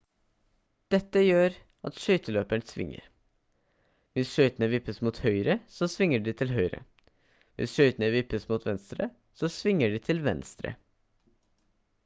dette gjør at skøyteløperen svinger hvis skøytene vippes mot høyre så svinger de til høyre hvis skøytene vippes mot venstre så svinger de til venstre